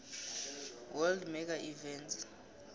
world mega events